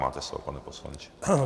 Máte slovo, pane poslanče.